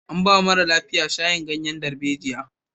An ba wa mara lafiyan shayin ganyen darejiya.